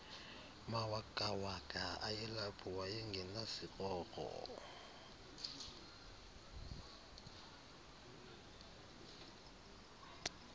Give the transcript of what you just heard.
mawakawaka ayelapho wayengenasikrokro